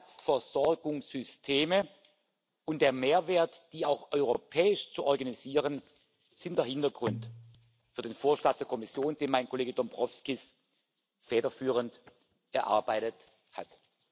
Zusatzversorgungssysteme und der Mehrwert, die auch europäisch zu organisieren, sind der Hintergrund für den Vorschlag der Kommission, den mein Kollege Dombrovskis federführend erarbeitet hat.